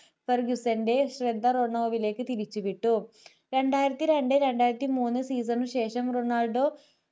പെർഗിസന്റെ ശ്രദ്ധ റോണോവിലോക്ക് തിരിച്ചുവിട്ടു രണ്ടായിരത്തി രണ്ട് രണ്ടായിരത്തി മൂന്ന് season ന് ശേഷം റൊണാൾഡോ